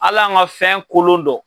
Hal'an ka fɛn kolon dɔn